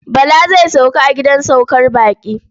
Bala zai sauka a gidan saukar baƙi.